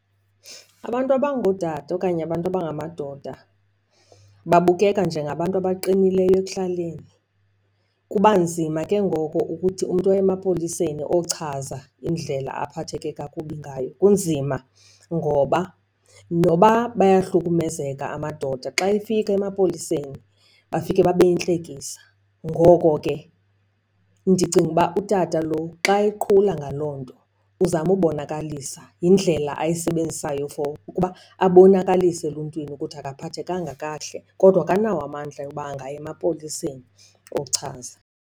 Abantu abangootata okanye abantu abangamadoda babukeka njengabantu abaqinileyo ekuhlaleni kuba nzima ke ngoko ukuthi umntu aye emapoliseni ochaza indlela aphatheke kakubi ngayo. Kunzima ngoba noba bayahlukumezeka amadoda xa efika emapoliseni bafike babe yintlekisa. Ngoko ke ndicinga uba utata lo xa eqhula ngaloo nto uzama ubonakalisa, yindlela ayisebenzisayo for ukuba abonakalise eluntwini ukuthi akaphathekanga kakuhle kodwa akanawo amandla oba angaya emapoliseni ochaza.